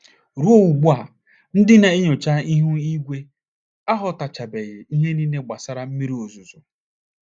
Ruo ugbu a, ndị na - enyocha ihu ígwé aghọtachabeghị ihe niile gbasara mmiri ozuzo.